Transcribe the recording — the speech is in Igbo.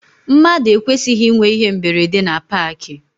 Mmadụ ekwesịghị ịnwe íhé mberede na paakị.